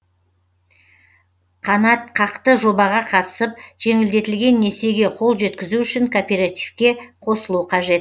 қанатқақты жобаға қатысып жеңілдетілген несиеге қол жеткізу үшін кооперативке қосылу қажет